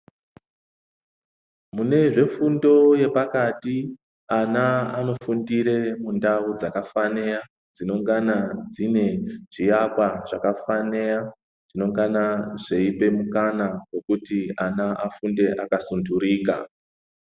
Mune zvefundo yepaka zvti ana anofundire mundau dzakafaniya dzinengana dzine Zviakwa zvakafaniya zvinengana zveipe mukana wekuti ana afunde akasunturika.